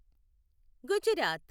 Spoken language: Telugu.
గుజరాత్